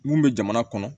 Mun bɛ jamana kɔnɔ